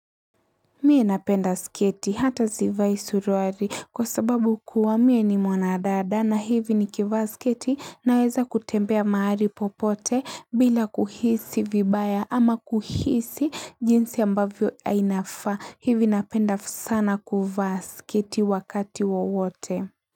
Mie napenda sketi hata zivai suruari kwa sababu kuwa mie ni mwanadada na hivi nikivaa sketi naweza kutembea mahali popote bila kuhisi vibaya ama kuhisi jinsi ambavyo inafaa. Hivi napenda sana kuvaa sketi wakati wowote.